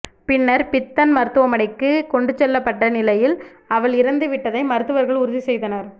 பின்னர் பித்தன் மருத்துவமனைக்கு கொண்டு செல்லப்பட்ட நிலையில் அவள் இறந்துவிட்டதை மருத்துவர்கள் உறுதி செய்தனர்